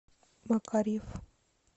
макарьев